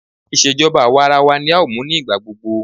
Ìṣèjọba àwarawa ní a ó máa mú ní ìgbà gbogbo.